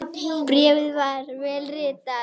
Bréfið var vel ritað.